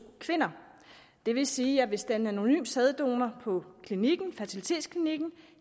kvinder det vil sige at hvis det er en anonym sæddonor på fertilitetsklinikken